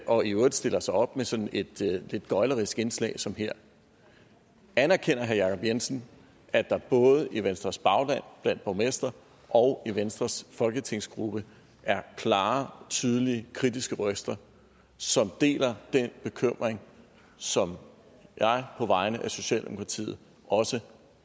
og i øvrigt stiller sig op med sådan et lidt gøglerisk indslag som her anerkender herre jacob jensen at der både i venstres bagland blandt borgmestre og i venstres folketingsgruppe er klare tydelige og kritiske røster som deler den bekymring som jeg på vegne af socialdemokratiet også